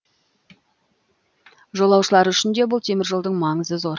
жолаушылар үшін де бұл теміржолдың маңызы зор